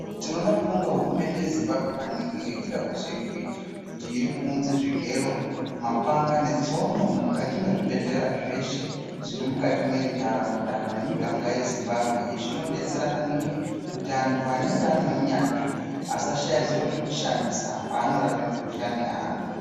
Tinoda kubonga hurumende yezimbambwe maningi nekuda kwezveiri kuita kuti irikuunze zvigero, mapanga netsino mukati mezvibhedhlera zveshe zviri mukati mentaraunda nemiganga yezimbambwe. Izvi zvinobetsera maningi kuti antu anenge ane unyanzvi asashaya zviro zvekushandisa paanorape mikuhlani yeantu.